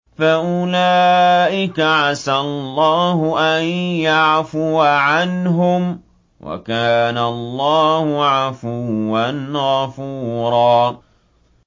فَأُولَٰئِكَ عَسَى اللَّهُ أَن يَعْفُوَ عَنْهُمْ ۚ وَكَانَ اللَّهُ عَفُوًّا غَفُورًا